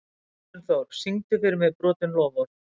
Gunnþór, syngdu fyrir mig „Brotin loforð“.